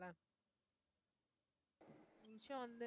கொஞ்சம் வந்து